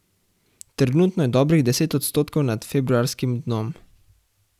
Trenutno je dobrih deset odstotkov nad februarskim dnom.